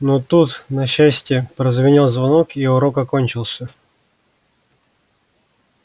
но тут на счастье прозвенел звонок и урок окончился